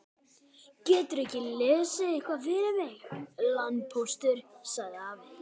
Geturðu ekki lesið eitthvað fyrir mig, landpóstur, sagði afi.